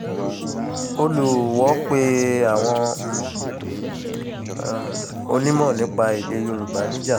olùwọ́ọ́ pe àwọn um onímọ̀ nípa èdè yorùbá níjà